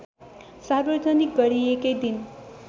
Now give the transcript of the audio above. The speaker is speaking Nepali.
सार्वजनिक गरिएकै दिन